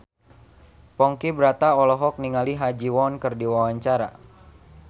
Ponky Brata olohok ningali Ha Ji Won keur diwawancara